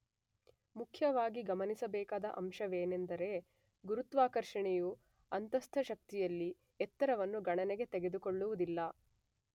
ಮುಖ್ಯವಾಗಿ ಗಮನಿಸಬೇಕಾದ ಅಂಶವೆಂದರೆ ಗುರುತ್ವಾಕರ್ಷಣೆಯ ಅಂತಸ್ಥ ಶಕ್ತಿಯಲ್ಲಿ ಎತ್ತರವನ್ನು ಗಣನೆಗೆ ತೆಗೆದುಕೊಳ್ಳುವುದಿಲ್ಲ.